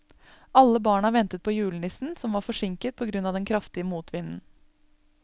Alle barna ventet på julenissen, som var forsinket på grunn av den kraftige motvinden.